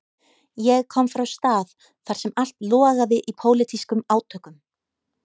Ég kom frá stað þar sem allt logaði í pólitískum átökum.